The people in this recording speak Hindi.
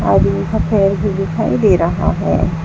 आदमी का पैर भी दिखाई दे रहा है।